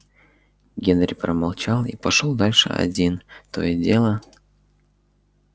генри промолчал и пошёл дальше один то и дело